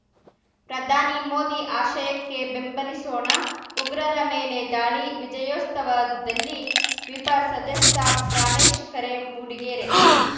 ಪ್ರಧಾನಿ ಮೋದಿ ಆಶಯಕ್ಕೆ ಬೆಂಬಲಿಸೋಣ ಉಗ್ರರ ಮೇಲೆ ದಾಳಿ ವಿಜಯೋತ್ಸವದಲ್ಲಿ ವಿಪ ಸದಸ್ಯ ಪ್ರಾಣೇಶ್‌ ಕರೆ ಮೂಡಿಗೆರೆ